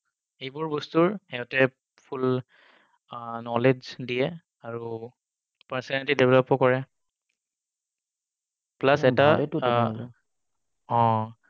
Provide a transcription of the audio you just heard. এইবোৰ বস্তুৰ সিহঁতে full knowledge দিয়ে আৰু personality develop ও কৰে। plus এটা অঁহ।